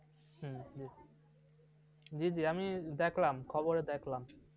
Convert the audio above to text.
জি জি আমি দেখলাম খবরে দেখলাম।